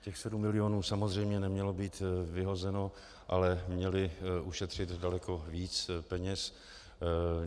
Těch 7 milionů samozřejmě nemělo být vyhozeno, ale měly ušetřit daleko víc peněz.